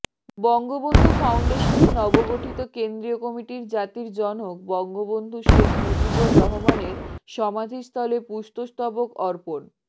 বঙ্গবন্ধু ফাউন্ডেশনের নবগঠিত কেন্দ্রীয় কমিটির জাতির জনক বঙ্গবন্ধু শেখ মুজিবর রহমানের সমাধিস্থলে পুষ্পস্তবক অর্পন